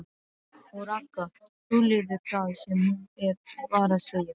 OG RAGGA, hugleiðir það sem hún var að segja.